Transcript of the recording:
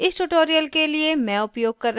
इस tutorial के लिए मैं उपयोग कर रही हूँ